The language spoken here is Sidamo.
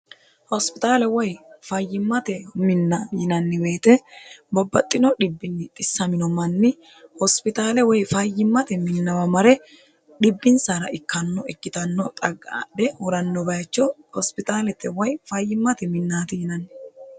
hospixaale woy fayyimmate minna yinanni woyete bobbaxxino dhibbinni xissamino manni hospitaale woy fayyimmate minnawa mare dhibbinsara ikkanno ikkitanno xaqadhe huranno bayicho hospitaalete woy fayyimmate minnaati yinanni.